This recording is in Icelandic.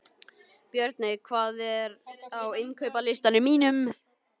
Björney, hvað er á innkaupalistanum mínum?